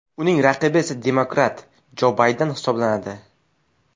Uning raqibi esa demokrat Jo Bayden hisoblanadi.